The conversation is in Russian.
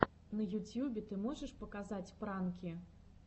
на ютьюбе ты можешь показать пранки